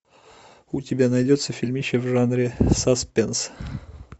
у тебя найдется фильмище в жанре саспенс